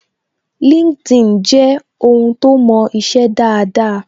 LinkedIn je ohun to mo ise daada